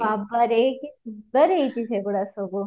ବାବାରେ କି ସୁନ୍ଦର ହେଇଛି ସେ ଗୁଡା ସବୁ